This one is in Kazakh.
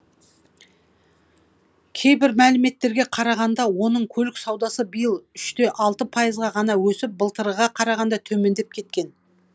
кейбір мәліметтерге қарағанда оның көлік саудасы биыл үште алты пайызға ғана өсіп былтырғыға қарағанда төмендеп кеткен